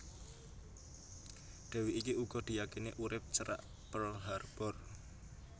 Dèwi iki uga diyakini urip cerak Pearl Harbor